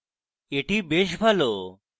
এটি বেশ ভালো